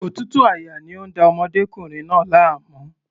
Òtútù àyà ni ó ń da ọmọdékùnrin náà láàmú.